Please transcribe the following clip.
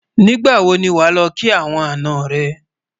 nígbà wò ní wà ló kí àwọn àná rè